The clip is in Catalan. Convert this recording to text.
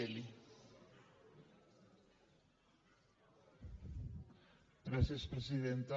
gràcies presidenta